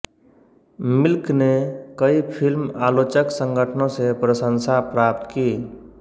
milk ने कई film आलोचक संगठनों से प्रशंसा प्राप्त की